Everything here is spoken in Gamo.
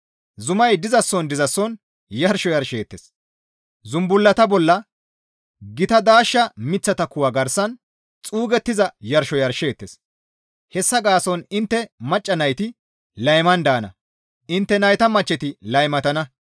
Zumay dizason dizason yarsho yarsheettes; zumbullata bolla, gita daashsha miththata kuwa garsan xuugettiza yarsho yarsheettes. Hessa gaason intte macca nayti layman daana; intte nayta machcheti laymatana.